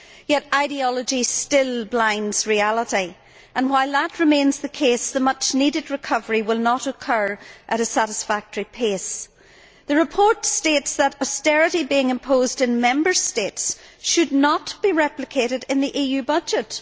Yet ideology still blinds reality, and while that remains the case the much needed recovery will not occur at a satisfactory pace. The report states that austerity being imposed in Member States should not be replicated in the EU budget.